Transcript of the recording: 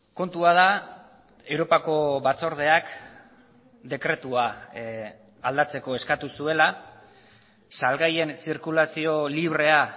kontua da europako batzordeak dekretua aldatzeko eskatu zuela salgaien zirkulazio librea